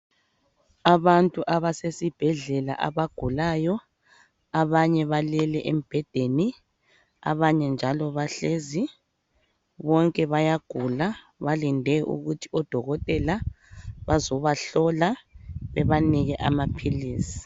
Abantu abasesibhedlela abagulayo abanye balele embhedeni abanye njalo bahlezi, bonke bayagula balinde ukuthi odokotela bazobahlola bebanike amaphilisi.